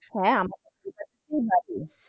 হ্যাঁ আমাদের